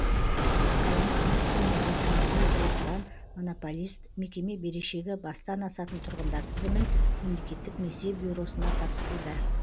қаланы ауыз сумен қамтамасыз етіп отырған монополист мекеме берешегі бастан асатын тұрғындар тізімін мемлекеттік несие бюросына тапсыруда